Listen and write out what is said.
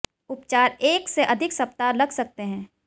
उपचार एक से अधिक सप्ताह लग सकते हैं